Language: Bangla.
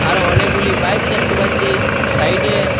আরও অনেকগুলি বাইক দেখতে পাচ্ছি সাইডে।